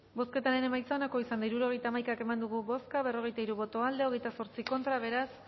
bozketaren emaitza onako izan da hirurogeita hamaika eman dugu bozka berrogeita hiru boto aldekoa veintiocho contra beraz